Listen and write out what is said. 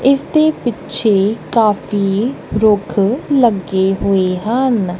ਇਸ ਦੇ ਪਿੱਛੇ ਕਾਫੀ ਦੁੱਖ ਲੱਗੇ ਹੋਏ ਹਨ।